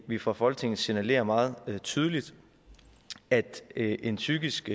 vi fra folketinget signalerer meget tydeligt at en psykisk